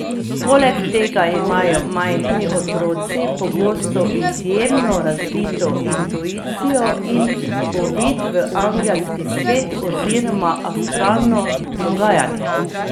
Poleg tega imajo majhni otroci pogosto izjemno razvito intuicijo in uvid v angelski svet oziroma astralno dogajanje.